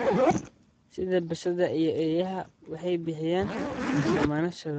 sida bisadaha iyo eeyaha waxay bixiyaan dammaanad shucuureed,.